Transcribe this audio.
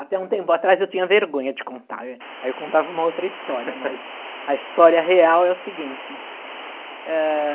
Até um tempo atrás eu tinha vergonha de contar, aí eu, aí eu contava uma outra história, mas a história real é o seguinte. É...